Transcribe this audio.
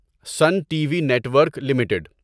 sun TV network limited